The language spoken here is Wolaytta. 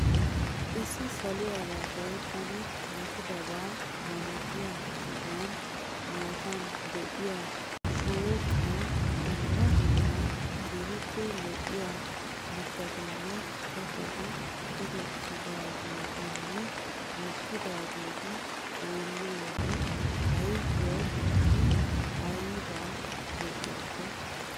Issi saluwara gayttana matidabaa malatiya sohuwaa matan de'iya shooqatun dumma dumma keehiippe lo'iya mittatinne kattati tohettidaageetinne mokkidaageeti xeelliyode ayfiyawu I aybba lo'iyakko.